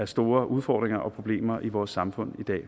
store udfordringer og problemer i vores samfund i dag